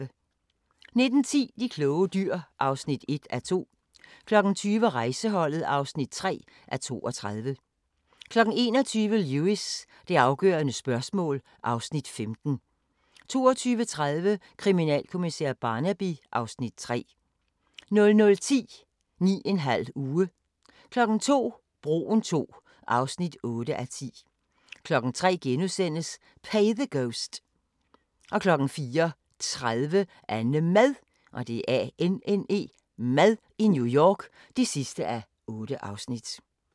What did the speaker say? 19:10: De kloge dyr (1:2) 20:00: Rejseholdet (3:32) 21:00: Lewis: Det afgørende spørgsmål (Afs. 15) 22:30: Kriminalkommissær Barnaby (Afs. 3) 00:10: 9½ uge 02:00: Broen II (8:10) 03:00: Pay the Ghost * 04:30: AnneMad i New York (8:8)